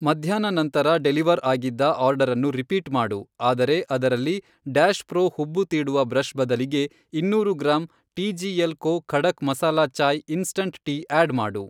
ಮಧ್ಯಾಹ್ನ ನಂತರ ಡೆಲಿವರ್ ಆಗಿದ್ದ ಆರ್ಡರನ್ನು ರಿಪೀಟ್ ಮಾಡು ಆದರೆ ಅದರಲ್ಲಿ ಡ್ಯಾಷ್ ಪ್ರೊ ಹುಬ್ಬು ತೀಡುವ ಬ್ರಷ್ ಬದಲಿಗೆ ಇನ್ನೂರು gram T G L co Khadak masala chai instant tea add ಮಾಡು.